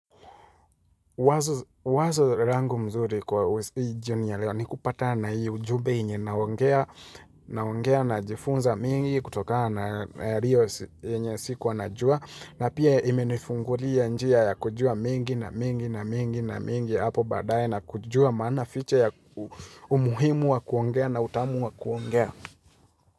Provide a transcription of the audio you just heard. Wazo langu mzuri kwa jioni ya leo ni kupatana hii ujumbe yenye naongea najifunza mengi kutokana yenye sikuwa najua na pia imenifungulia njia ya kujua mengi na mengi na mengi na mengi na mengi hapo baadaye na kujua maana fiche ya umuhimu wa kuongea na utamu wa kuongea.